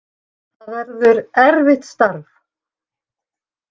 Það verður erfitt starf.